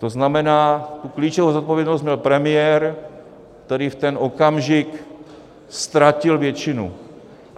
To znamená, tu klíčovou odpovědnost měl premiér, který v ten okamžik ztratil většinu.